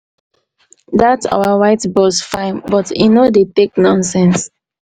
dat our white boss fine but e no dey take nonsense.